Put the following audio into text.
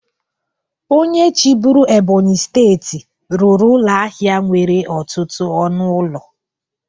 Onye chịburu Ebonyi steeti rụrụ ụlọ ahịa nwere ọtụtụ ọnụ ụlọ.